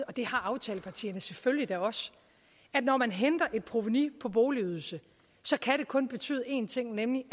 og det har aftalepartierne selvfølgelig da også at når man henter et provenu på boligydelse kan det kun betyde én ting nemlig at